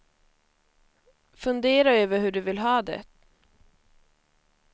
Fundera över hur du vill ha det.